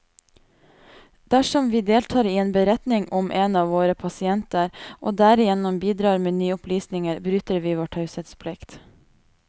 Dersom vi deltar i en beretning om en av våre pasienter, og derigjennom bidrar med nye opplysninger, bryter vi vår taushetsplikt.